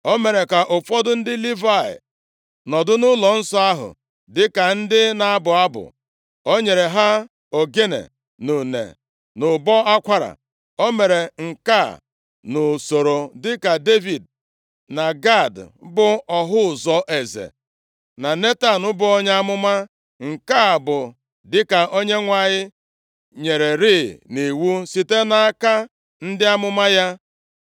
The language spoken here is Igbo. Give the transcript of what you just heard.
O mere ka ụfọdụ ndị Livayị nọdụ nʼụlọnsọ ahụ, dịka ndị na-abụ abụ. O nyere ha ogene, na une, na ụbọ akwara. O mere nke a nʼusoro dịka Devid na Gad, bụ ọhụ ụzọ eze, na Netan, bụ onye amụma, nke a bụ dịka Onyenwe anyị nyererịị nʼiwu site nʼaka ndị amụma ya.